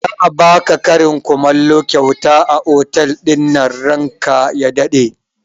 Za a baka karin kumallo kyauta a otal ɗinnan ranka ya daɗe